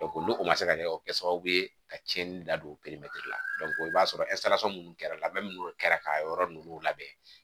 n'o ma se ka kɛ o kɛ sababu ye ka tiɲɛni da don la i b'a sɔrɔ munnu kɛra munnu kɛra ka yɔrɔ nunnu labɛn